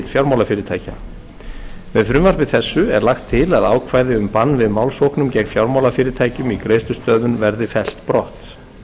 fjármálafyrirtækja með frumvarpi þessu er lagt til að ákvæði um bann við málssóknum gegn fjármálafyrirtækjum í greiðslustöðvun verði fellt brott